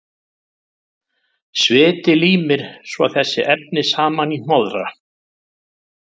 Sviti límir svo þessi efni saman í hnoðra.